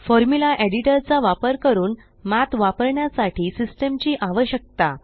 formula editor चा वापर करून Mathवापरण्यासाठी सिस्टम ची आवश्यकता